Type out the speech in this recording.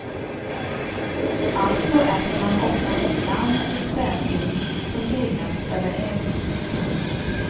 Alltså äter man oftast lamm eller spädgris som grillats över eld.